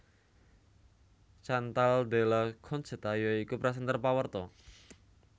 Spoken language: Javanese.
Chantal Della Concetta ya iku présènter pawarta